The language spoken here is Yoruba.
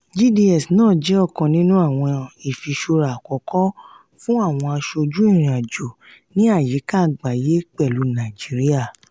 gds náà jẹ́ ọ̀kan nínú àwọn irinṣẹ́ ifìṣura àkọ́kọ́ fún àwọn aṣojú ìrìn-àjò ní àyíká agbaye pẹlu naijiria.